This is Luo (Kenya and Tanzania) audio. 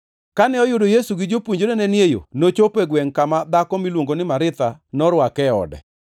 Kane oyudo Yesu gi jopuonjrene ni e yo, nochopo gwengʼ kama dhako miluongo ni Maritha norwake e ode.